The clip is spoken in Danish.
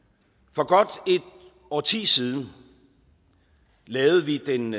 for godt et årti siden lavede vi den